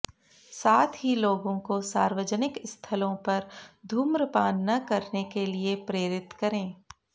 साथ ही लोगों को सार्वजनिक स्थलों पर धू्रमपान न करने के लिए प्रेरित करें